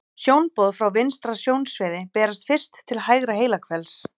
Sjónboð frá vinstra sjónsviði berast fyrst til hægra heilahvels.